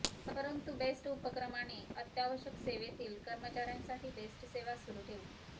परंतु बेस्ट उपक्र माने अत्यावश्यक सेवेतील कर्मचार्यांसाठी बेस्टसेवा सुरू ठेवली